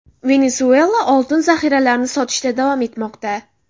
Venesuela oltin zahiralarini sotishda davom etmoqda.